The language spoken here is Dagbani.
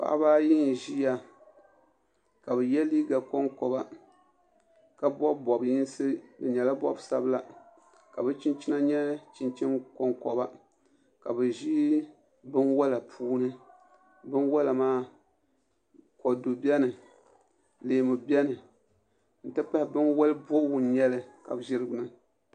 Paɣaba ayi n ʒiya ka bi yɛ liiga konkoba ka bob bob yinsi di nyɛla bob sabila ka bi chinchina nyɛ chinchini konkoba ka bi ʒi binwola puuni binwola maa kodu biɛni leemu biɛni n ti pahi binwoli bobgu n nyɛli ka bi ʒi di gbuni